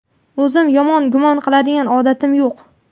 O‘zim yomon gumon qiladigan odatim yo‘q.